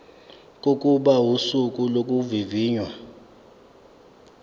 kokuba usuku lokuvivinywa